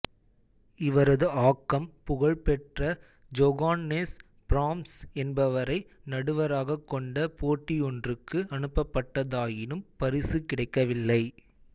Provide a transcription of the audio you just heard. இவரது ஆக்கம் புகழ் பெற்ற ஜொகான்னெஸ் பிராம்ஸ் என்பவரை நடுவராகக் கொண்ட போட்டியொன்றுக்கு அனுப்பப்பட்டதாயினும் பரிசு கிடைக்கவில்லை